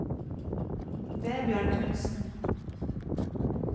Vebjørn Knutsen